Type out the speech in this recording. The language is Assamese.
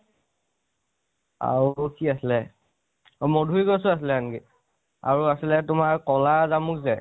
আৰু কি আছিলে, মধূৰী গছো আছিলে আনকি আৰু আছিলে তোমাৰ কʼলা জামু যে